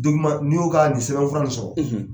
n'i y'o ka nin sɛbɛn fura nin sɔrɔ.